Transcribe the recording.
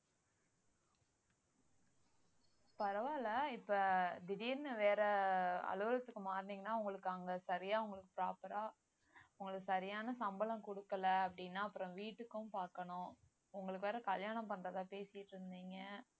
பரவாயில்லை இப்ப திடீர்னு வேற அலுவலகத்துக்கு மாறுனீங்கன்னா உங்களுக்கு அங்க சரியா உங்களுக்கு proper ஆ உங்களுக்கு சரியான சம்பளம் குடுக்கல அப்படின்னா அப்புறம் வீட்டுக்கும் பாக்கணும் உங்களுக்கு வேற கல்யாணம் பண்றதா பேசிட்டு இருந்தீங்க